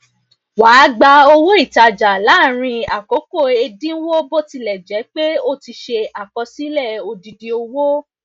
wà gba owó ìtajà làárín àkókò ẹdínwó botilejepe o ti se àkọsílẹ odidi owó